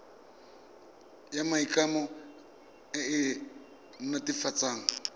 ya maikano e e netefatsang